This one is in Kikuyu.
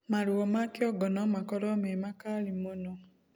Maruo ma kĩongo nomakorwo me makali mũno